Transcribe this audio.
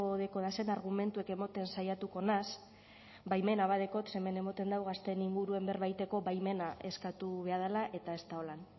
dekodazen argumentuek emoten saiatuko naz baimena badekot ze hemen emoten dau gazteen inguruan berba iteko baimena eskatu beha dala eta ez da holan